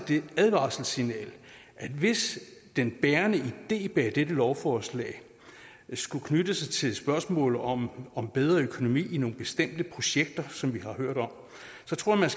et advarselssignal hvis den bærende idé bag dette lovforslag skulle knytte sig til et spørgsmål om om bedre økonomi i nogle bestemte projekter som vi har hørt om så tror jeg